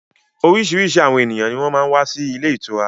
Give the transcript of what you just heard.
Oríṣiríṣi àwọn ènìyàn ní wọ́n máa ń wà sì ilé ìtura